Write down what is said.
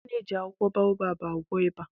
A na-eji akwụkwọ baobab agwọ ịba